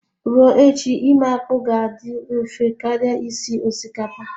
Ruo echi ime akpu ga-adị mfe karịa isi osikapa